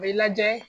A bɛ lajɛ